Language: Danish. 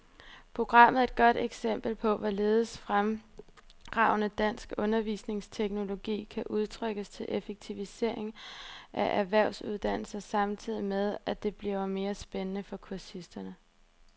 Programmet er et godt eksempel på, hvorledes fremragende dansk undervisningsteknologi kan udnyttes til effektivisering af erhvervsuddannelser samtidig med, at det bliver mere spændende for kursisterne.